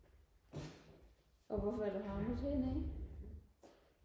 og hvorfor er du havnet hernede